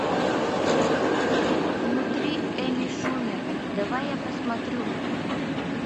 внутри эми шумер давай я посмотрю